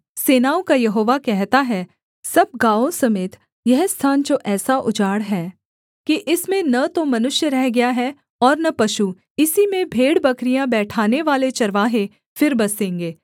सेनाओं का यहोवा कहता है सब गाँवों समेत यह स्थान जो ऐसा उजाड़ है कि इसमें न तो मनुष्य रह गया है और न पशु इसी में भेड़बकरियाँ बैठानेवाले चरवाहे फिर बसेंगे